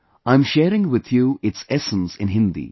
I am sharing with you its essence in Hindi